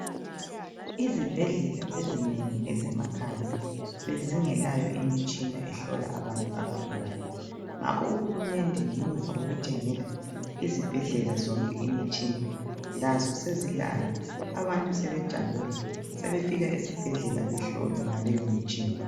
Izibhedlela ezinengi ezemakhaya bezingelayo imitshina ehlola abantu abagulayo, ngakho uhulumende ngemuva kokuthengela izibhedlela zonke imitshina lazo sezilayo. Abantu sebejabula sebefika esibhedlela behlolwe ngaleyo mitshina.